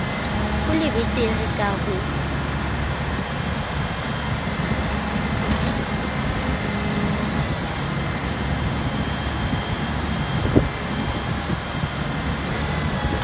ho le betere ka ho